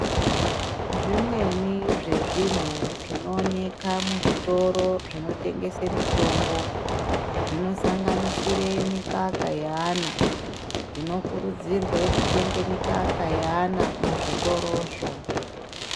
Zvimweni zvezvinhu zvinooneka muzvitoro zvinotengese mitombo, zvinosanganisire mikaka yeana. Tinokurudzirwe kutenge mikaka yeana, muzvitorozvo.